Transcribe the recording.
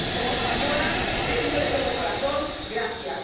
Como española te digo, de todo corazón, gracias.